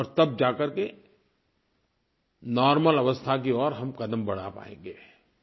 और तब जाकर के नॉर्मल अवस्था की ओर हम क़दम बढ़ा पाएँगे